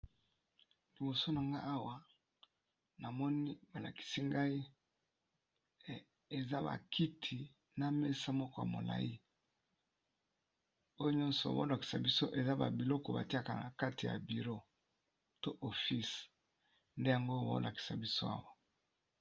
Liboso na nga awa na moni balakisi ngai eza bakiti na mesa moko ya molai oyo nyonso obolakisa bso eza babiloko batiaka na kati ya biro to office nde yango obolakisa biso awa.